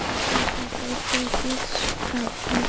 এইটা একটা post office ডাকঘর।